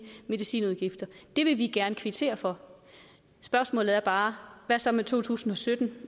medicinudgifter det vil vi gerne kvittere for spørgsmålet er bare hvad så med 2017